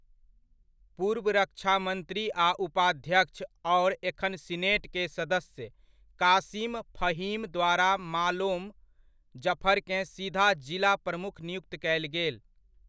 पूर्व रक्षामंत्री आ उपाध्यक्ष आओर एखन सीनेट के सदस्य कासिम फहीम द्वारा मालोम जफरकेँ सीधा जिला प्रमुख नियुक्त कयल गेल।